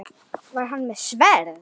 Var hann með sverð?